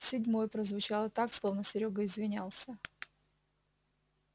седьмой прозвучало так словно серёга извинялся